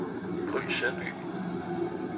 Gry Søby